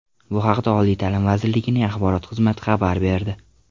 Bu haqda Oliy ta’lim vazirligining axborot xizmati xabar berdi .